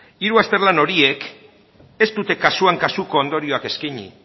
hiru azterlan horiek ez dute kasuan kasuko ondorioak eskaini